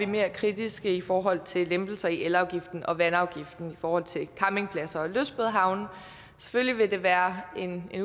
mere kritiske i forhold til lempelser i elafgiften og vandafgiften i forhold til campingpladser og lystbådehavne selvfølgelig vil det være en